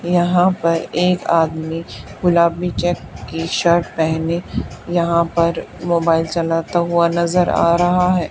यहां पर एक आदमी गुलाबी चेक की शर्ट पहने यहां पर मोबाइल चलाता हुआ नजर आ रहा है।